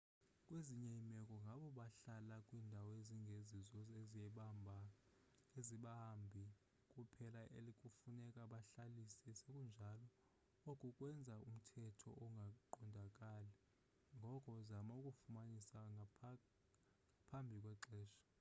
kwezinye iimeko ngabo bahlala kwiindawo ezingezizo ezabahambi kuphela ekufuneka babhalise sekunjalo oku kwenza umthetho ungaqondakali ngoko zama ukufumanisa ngaphambi kwexesha